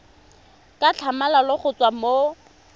ka tlhamalalo go tswa mo